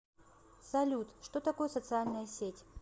салют что такое социальная сеть